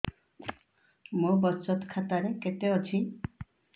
ମୋ ବଚତ ଖାତା ରେ କେତେ ଅଛି